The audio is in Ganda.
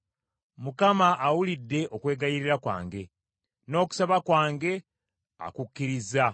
Mukama awulidde okwegayirira kwange, n’okusaba kwange akukkirizza.